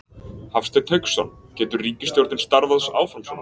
Hafsteinn Hauksson: Getur ríkisstjórnin starfað áfram svona?